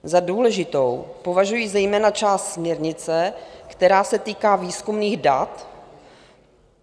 Za důležitou považuji zejména část směrnice, která se týká výzkumných dat.